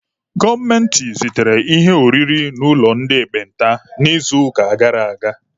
Gọọmenti zitere ihe oriri n'ụlọ ndị ekpenta n'izuụka gara aga.